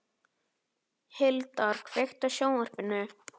Hildar, kveiktu á sjónvarpinu.